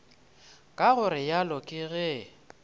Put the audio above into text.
ka go realo ke ge